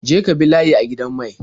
Je ka bi layi a gidan mai.